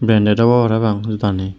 pinney de obow parapang jodagani.